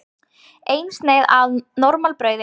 Eina sneið af normalbrauði.